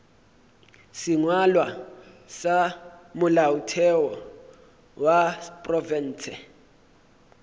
sengwalwa sa molaotheo wa profense